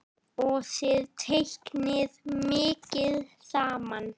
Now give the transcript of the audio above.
Og þið teiknið mikið saman?